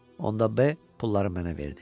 Onda B pulları mənə verdi.